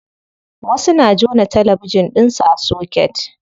Wasu na jona talabijin ɗinsu a soket.